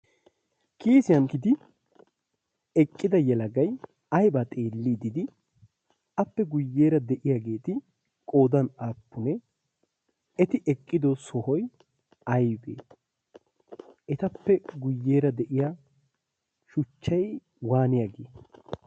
kiisiyan gidi eqqida yalagai aibaa xeellii dii? appe guyyeera de7iyaageeti qoodan aappunee eti eqqido sohoi aibee? etappe guyyeera de7iya shuchchai waaniyaagee?